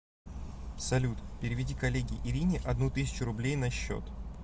салют переведи коллеге ирине одну тысячу рублей на счет